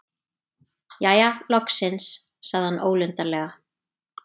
Jæja, loksins- sagði hann ólundarlega.